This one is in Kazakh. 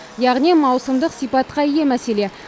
яғни маусымдық сипатқа ие мәселе